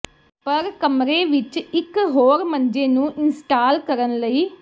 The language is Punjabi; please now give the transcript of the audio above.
ਪਰ ਕਮਰੇ ਵਿੱਚ ਇੱਕ ਹੋਰ ਮੰਜੇ ਨੂੰ ਇੰਸਟਾਲ ਕਰਨ ਲਈ